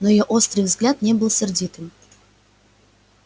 но её острый взгляд не был сердитым